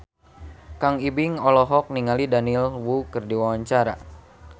Kang Ibing olohok ningali Daniel Wu keur diwawancara